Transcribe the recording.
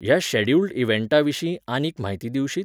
ह्या शॅड्युल्ड इवँटाविशीं आनीक म्हायती दिवशीत?